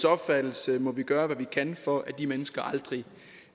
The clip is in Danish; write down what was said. opfattelse må vi gøre hvad vi kan for at de mennesker aldrig